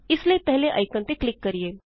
ਇਸ ਲਈ ਪਹਿਲੇ ਆਇਕਨ ਤੇ ਕਲਿਕ ਕਰਿਏ